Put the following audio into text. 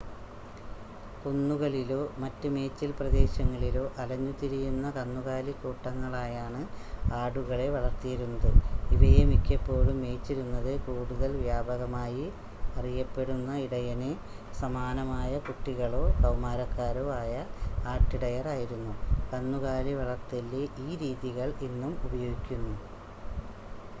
കുന്നുകളിലോ മറ്റ് മേച്ചിൽ പ്രദേശങ്ങളിലോ അലഞ്ഞു തിരിയുന്ന കന്നുകാലി കൂട്ടങ്ങളായാണ് ആടുകളെ വളർത്തിയിരുന്നത് ഇവയെ മിക്കപ്പോഴും മേയ്ച്ചിരുന്നത് കൂടുതൽ വ്യാപകമായി അറിയപ്പെടുന്ന ഇടയന് സമാനമായ കുട്ടികളോ കൗമാരക്കാരോ ആയ ആട്ടിടയർ ആയിരുന്നു കന്നുകാലി വളർത്തലിലെ ഈ രീതികൾ ഇന്നും ഉപയോഗിക്കുന്നു